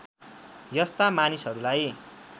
यस्ता मानिसहरूलाई